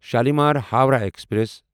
Shalimar Howrah express